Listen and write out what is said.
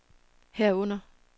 herunder